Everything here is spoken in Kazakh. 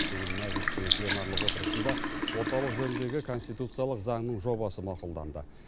бүгін мәжілістің пленарлық отырысында орталық жөніндегі конституциялық заңның жобасы мақұлданды